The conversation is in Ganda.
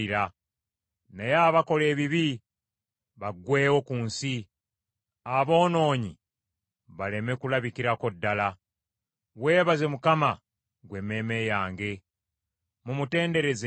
Naye abakola ebibi baggweewo ku nsi; aboonoonyi baleme kulabikirako ddala. Weebaze Mukama , gwe emmeeme yange. Mumutenderezenga Mukama .